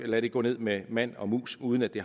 lade det gå ned med mand og mus uden at det